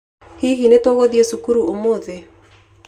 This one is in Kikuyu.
Hihi nĩ tũgũthiĩ cukuru ũmũthĩ?